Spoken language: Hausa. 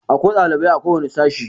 Akwai ɗalibai a ko wani sashi.